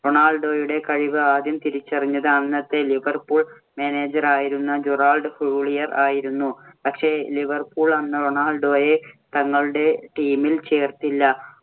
റൊണാൾഡോയുടെ കഴിവ് ആദ്യം തിരിച്ചറിഞ്ഞത് അന്നത്തെ ലിവർപൂൾ manager ആയിരുന്ന ജെറാർഡ് ഹൂളിയർ ആയിരുന്നു. പക്ഷേ ലിവർപൂൾ അന്ന് റൊണാൾഡോയെ തങ്ങളുടെ Team ൽ ചേർത്തില്ല.